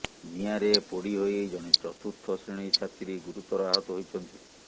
ନିଆଁରେ ପୋଡି ହୋଇ ଜଣେ ଚତୁର୍ଥ ଶ୍ରେଣୀ ଛାତ୍ରୀ ଗୁରୁତର ଆହତ ହୋଇଛନ୍ତି